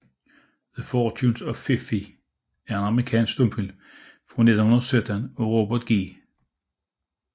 The Fortunes of Fifi er en amerikansk stumfilm fra 1917 af Robert G